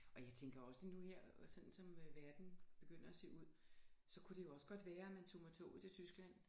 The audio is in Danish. Og jeg tænker også nu her sådan som verden begynder at se ud så kunne det jo også godt være man tog med toget til Tyskland